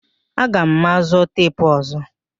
Aga mazụ teepu ọzọ